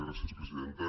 gràcies presidenta